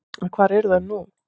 En hvar eru þær nú?